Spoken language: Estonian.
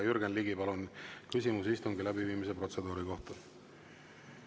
Jürgen Ligi, palun, küsimus istungi läbiviimise protseduuri kohta!